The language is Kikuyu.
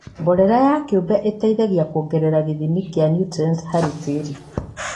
Mborera ya kĩũmbe ĩteithagia kuongerera gĩthimi kĩa niutrienti harĩ tĩri.